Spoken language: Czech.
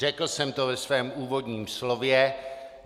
Řekl jsem to ve svém úvodním slově.